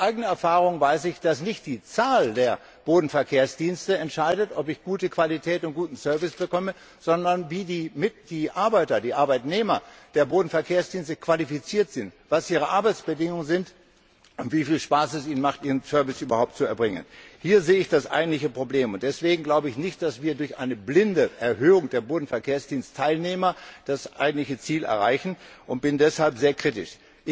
Aus eigener Erfahrung weiß ich, dass nicht die Zahl der Bodenverkehrdienste entscheidet, ob ich gute Qualität und guten Service bekomme, sondern wie die Arbeiter die Arbeitnehmer der Bodenverkehrsdienste qualifiziert sind, was ihre Arbeitsbedingungen sind, wie viel Spaß es ihnen macht, ihren Service überhaupt zu erbringen. Hier sehe ich das eigentliche Problem, und deswegen glaube ich nicht, dass wir durch eine blinde Erhöhung der Bodenverkehrsdienstteilnehmer das eigentliche Ziel erreichen, und bin deshalb sehr kritisch.